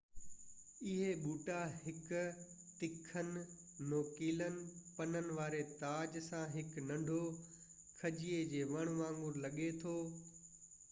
اهي ٻوٽا هڪ تکن نوڪيلن پنن واري تاج سان هڪ ننڍو کجي جي وڻ وانگر لڳي ٿو